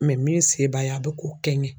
min se b'a ye a bɛ k'o kɛ n ye.